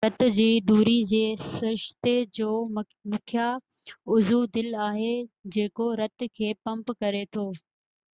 رت جي دوري جي سرشتي جو مکيہ عضوو دل آهي جيڪو رت کي پمپ ڪري ٿو